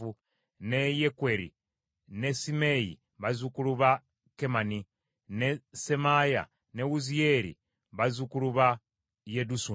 ne Yekweri ne Simeeyi, bazzukulu ba Kemani, ne Semaaya ne Wuziyeeri bazzukulu ba Yedusuni.